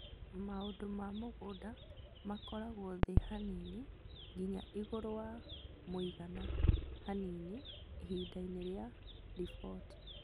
Maũndũ ma mũgunda makoragwo thĩ hanini nginya igũrũ wa mũigana hanini ihinda-inĩ rĩa riboti